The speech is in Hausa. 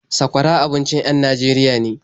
Sakwara abincin en Najeriya ne.